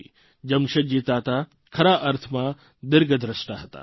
જમશેદજી તાતા ખરા અર્થમાં દિર્ઘદ્રષ્ટા હતા